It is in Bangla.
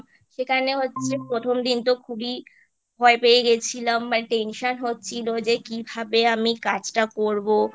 সেখানে হচ্ছে প্রথম দিনতো খুবই ভয় পেয়ে গেছিলাম মানে Tension হচ্ছিলো যে কিভাবে আমি কাজটা করবো